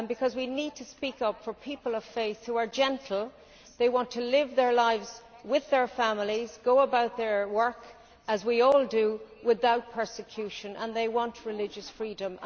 We need to speak up for people of faith who are gentle, they want to live their lives with their families, go about their work as we all do, without persecution, and they want religious freedom.